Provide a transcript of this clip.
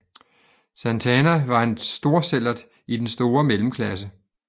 Santana var en storsællert i den store mellemklasse